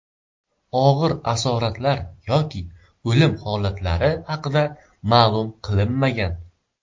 Og‘ir asoratlar yoki o‘lim holatlari haqida ma’lum qilinmagan.